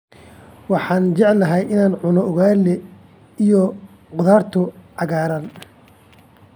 Waxaan jeclahay in aan cuno ugaali iyo khudaarta cagaaran.